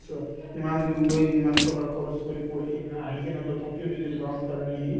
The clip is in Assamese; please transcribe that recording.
চোৱা ইমান দূৰ গৈ ইমান টকা খৰচ কৰি পঢ়ি না আহি কিনে তথাপিও নিজৰ গাঁৱৰ কাৰণে সি